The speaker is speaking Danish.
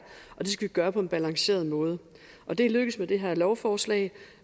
og det skal vi gøre på en balanceret måde og det er lykkedes med det her lovforslag